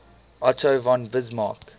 otto von bismarck